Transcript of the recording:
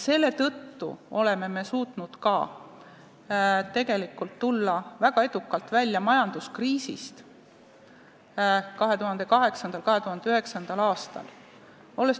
Seetõttu oleme me tegelikult suutnud ka väga edukalt tulla välja majanduskriisist 2008.–2009. aastal.